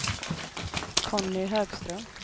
Conny Högström